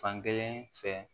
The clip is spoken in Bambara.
Fankelen fɛ